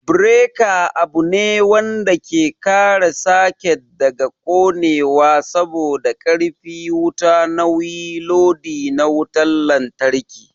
Bereka abune wanda ke kare saket daga konewa saboda karfi wuta nauyi lodi na wutan lantraki